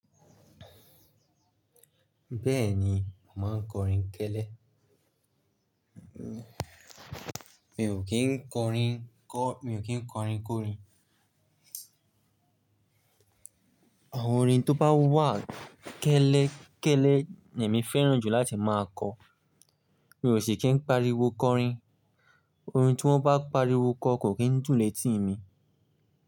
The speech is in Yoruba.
Bẹ́ẹ̀ni, mà á n kọrin tẹ́lẹ́. Mi ò kí ń kọrin kọ-- mi ò kí ń kọrin kórin. Awon orin tó bá wà kẹ́lẹ́ kẹ́lẹ́ ni èmi fẹ́ràn jù láti máa kọ. Mi ò sì kí ń pariwo kọrin. Orin tí wọ́n bá pariwo kọ kò kí ń dùn létí mi.